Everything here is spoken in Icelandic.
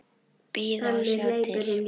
Bíða og sjá til.